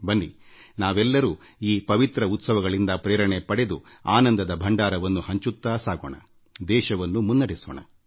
ಬನ್ನಿ ನಾವೆಲ್ಲರೂ ಈ ಪವಿತ್ರ ಹಬ್ಬದ ಸ್ಫೂರ್ತಿಯನ್ನು ಪಡೆಯೋಣ ಆನಂದದ ಭಂಡಾರವನ್ನು ಹಂಚಿಕೊಳ್ಳೋಣ ದೇಶವನ್ನು ಮುನ್ನಡೆಸೋಣ